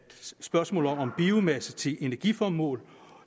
biomasse til energiformål